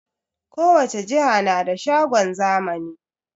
Kowace jiha na da shagon zamani